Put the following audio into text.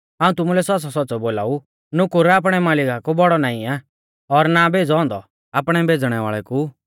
हाऊं तुमुलै सौच़्च़ौसौच़्च़ौ बोलाऊ नुकुर आपणै मालिका कु बौड़ौ नाईं आ और ना भेज़ौ औन्दौ आपणै भेज़णै वाल़ै कु